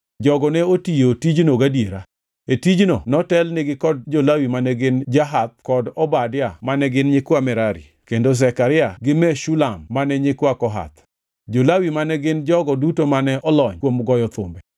Jogo ne otiyo tijno gadiera. E tijno notelnigi kod jo-Lawi mane gin Jahath kod Obadia mane gin nyikwa Merari, kendo Zekaria gi Meshulam mane nyikwa Kohath. Jo-Lawi, ma gin jogo duto mane olony kuom goyo thumbe